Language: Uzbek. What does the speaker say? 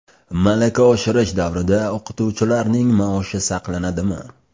Malaka oshirish davrida o‘qituvchilarning maoshi saqlanadimi?.